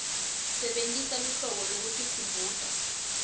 sebentisa luhlu lwekutikhumbuta